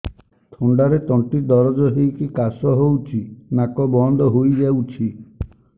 ଥଣ୍ଡାରେ ତଣ୍ଟି ଦରଜ ହେଇକି କାଶ ହଉଚି ନାକ ବନ୍ଦ ହୋଇଯାଉଛି